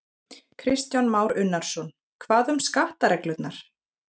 Kristján Már Unnarsson: Hvað um skattareglurnar?